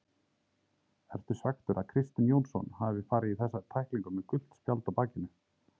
Ertu svekktur að Kristinn Jónsson hafi farið í þessa tæklingu með gult spjald á bakinu?